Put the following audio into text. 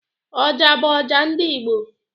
Oja bụ ọjà nke ndị igbo.